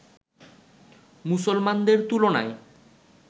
মুসলমানদের তুলনায়